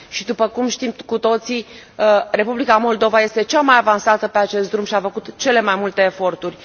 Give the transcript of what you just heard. Și după cum știm cu toții, Republica Moldova este cea mai avansată pe acest drum și a făcut cele mai multe eforturi.